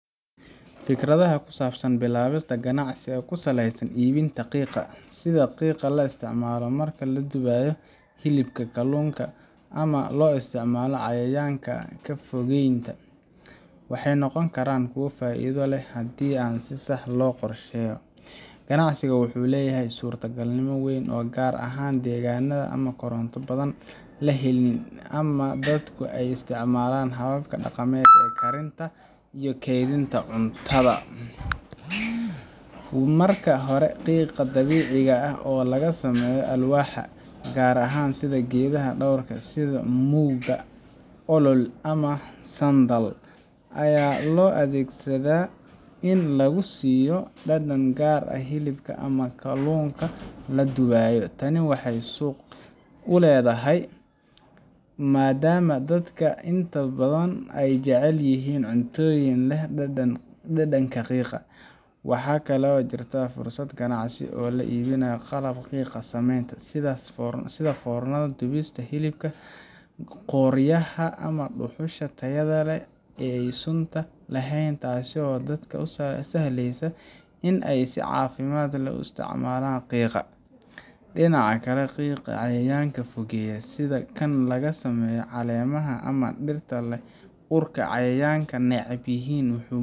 Fikradaha ku saabsan bilaabista ganacsi ku saleysan iibinta qiiqa sida qiiqa la isticmaalo marka la dubayo hilibka, kalluunka, ama loo isticmaalo cayayaanka ka fogeynta waxay noqon karaan kuwo faa’iido leh haddii si sax ah loo qorsheeyo. Ganacsigan wuxuu leeyahay suurtogalnimo weyn gaar ahaan deegaanada ama koronto badan la helin ama dadku ay isticmaalaan hababka dhaqameed ee karinta iyo kaydinta cuntada. Marka hore, qiiqa dabiiciga ah oo laga sameeyo alwaax gaar ah sida geedaha dhowrka ah sida mugaa, olol, ama sandal, ayaa loo adeegsadaa in lagu siiyo dhadhan gaar ah hilibka ama kalluunka la dubayo. Tani waxay suuq u leedahay maadaama dadka intooda badan ay jecel yihiin cunnooyinka leh dhadhanka qiiqa. Waxaa kale oo jirta fursad ganacsi oo ah iibinta qalabka qiiqa sameeya, sida foornada dubista hilibka , qoryaha ama dhuxusha tayada leh ee aan sunta lahayn, taasoo dadka u sahlaysa in ay si caafimaad leh u isticmaalaan qiiqa. Dhinaca kale, qiiqa cayayaanka fogeeya sida kan laga sameeyo caleemaha ama dhirta leh urka cayayaanka neceb yihiin wuxuu